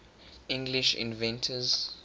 english inventors